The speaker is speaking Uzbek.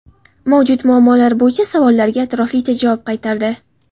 Mavjud muammolar bo‘yicha savollarga atroflicha javob qaytardi.